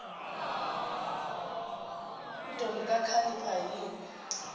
ntombi kakhalipha yini